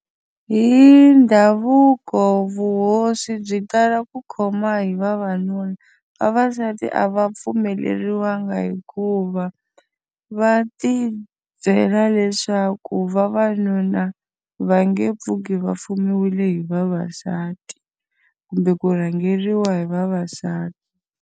Hi ndhavuko vuhosi byi tala ku khoma hi vavanuna, vavasati a va pfumeleriwanga hikuva, va ti byela leswaku vavanuna va nge pfuki va fumiwile hi vavasati kumbe ku rhangeriwa hi vavasati.